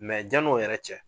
Mɛ jan' o yɛrɛ cɛ